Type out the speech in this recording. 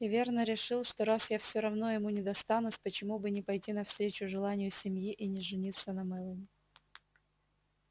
и верно решил что раз я всё равно ему не достанусь почему бы не пойти навстречу желанию семьи и не жениться на мелани